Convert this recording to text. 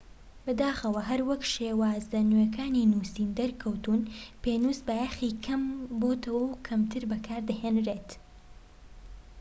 بەداخەوە هەروەک شێوازە نوێکانی نووسین دەرکەوتوون پێنووس بایەخی کەم بۆتەوە و کەمتر بەکار دەهێنرێت